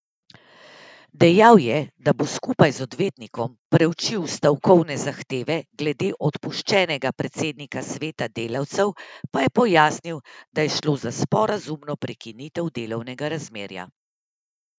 Dejal je, da bo skupaj z odvetnikom preučil stavkovne zahteve, glede odpuščenega predsednika sveta delavcev pa je pojasnil, da je šlo za sporazumno prekinitev delovnega razmerja.